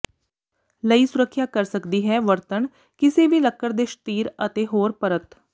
ਲਈ ਸੁਰੱਖਿਆ ਕਰ ਸਕਦੀ ਹੈ ਵਰਤਣ ਕਿਸੇ ਵੀ ਲੱਕੜ ਦੇ ਸ਼ਤੀਰ ਅਤੇ ਹੋਰ ਪਰਤ